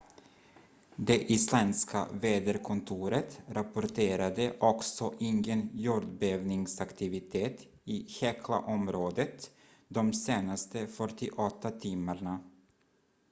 det isländska väderkontoret rapporterade också ingen jordbävningsaktivitet i heklaområdet de senaste 48 timmarna